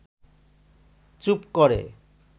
চুপ করে